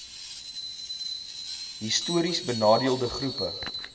histories benadeelde groepe